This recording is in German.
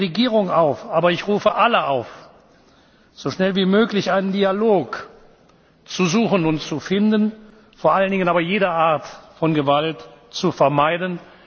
ukrainischen Volkes. Ich rufe die Regierung auf, ja ich rufe alle auf, so schnell wie möglich einen Dialog zu suchen und zu finden, vor allen Dingen aber jede Art von